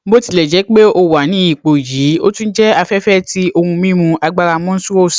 botilẹjẹpe o wa ni ipo yii o tun jẹ afẹfẹ ti ohun mimu agbara monstrous